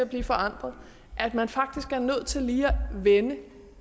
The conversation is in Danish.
her forandret at man faktisk er nødt til lige at vende